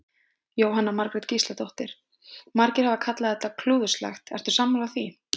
Jóhanna Margrét Gísladóttir: Margir hafa kallað þetta klúðurslegt, ertu sammála því?